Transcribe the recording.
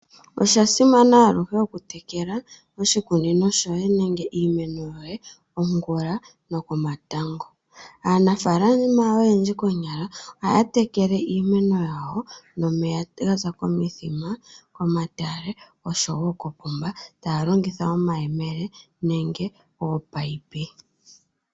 Osha simana aluhe oku tekela oshikunino shoye nenge iimeno yoye ongula noko matango. Aanafaalama oyendji konyala ohaya tekele iimeno yawo nomeya gaza komithima, komatale nosho wo koopomba taya longitha omayemele nenge ominino.